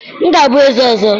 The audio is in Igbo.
m ga-abụ eze ọzọ!